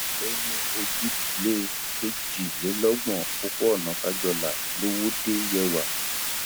ó ní ojúlé kejìlélọgbọn òpópónà kájọlà lọwọde yewa